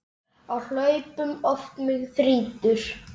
Á hlaupum oft mig þrýtur.